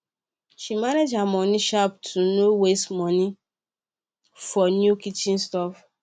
she manage her moni sharp to no waste money for new kitchen stuff